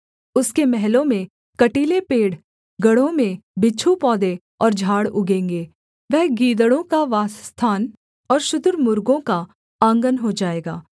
उसके महलों में कटीले पेड़ गढ़ों में बिच्छू पौधे और झाड़ उगेंगे वह गीदड़ों का वासस्थान और शुतुर्मुर्गों का आँगन हो जाएगा